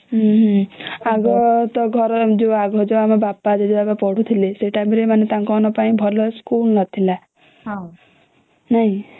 ହମ୍ମ ଆଗ ତ ଘର ଆଗ ଯୋଉ ଆମ ବାପା ଜେଜେବାପା ପଢୁଥିଲେ ସେଇ ଟାଇମ ରେ ତାଙ୍କ ମାନଙ୍କ ପାଇଁ ଭଲ ସ୍କୁଲ ନଥିଲା ନାଇଁ